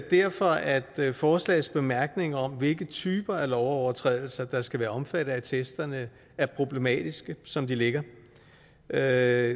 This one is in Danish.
derfor at forslagets bemærkninger om hvilke typer af lovovertrædelser der skal være omfattet af attesterne er problematiske som de ligger det er